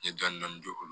N ye dɔni dɔni don o la